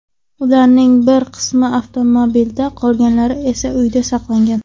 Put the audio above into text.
Ularning bir qismi avtomobilida, qolganlari esa uyida saqlangan.